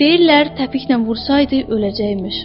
Deyirlər təpiklə vursaydı öləcəkmiş.